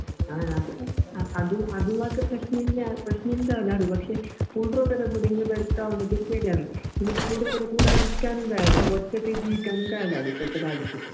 ആ അത്ഞാൻ അത് അബ്ദുള്ളാക്ക് പ്രശ്നില്ല പ്രശ്നിന്താവില്ല പക്ഷെ കുൽധ്രുഒക്കൊക്കെകൂടിയെങ്കി ബെടക്കാവുന്നത്പേടിയാവും കൂടാതിരിക്കാനുംകയിയില്ലാ ഒറ്റക്ക്ജീവിക്കാനുംകയില്ലാല്ലെ ഇപ്പത്തെകാലത്ത്.